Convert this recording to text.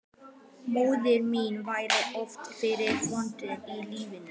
Móðir mín varð oft fyrir vonbrigðum í lífinu.